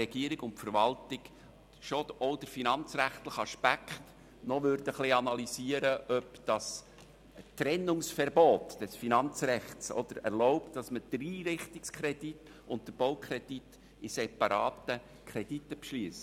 Regierung und Verwaltung schon auch den finanzrechtlichen Aspekt ein bisschen analysieren und klären würden, ob es das Trennungsverbot des Finanzrechts erlaubt, den Einrichtungs- und den Baukredit als separate Kredite zu beschliessen.